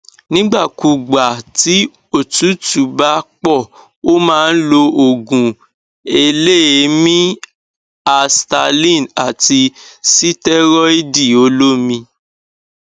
nígbà kúùgbà tí òtútù bá pọ ó máa lo òògùn eléèémí i asthaline àti sítẹrọìdì olómi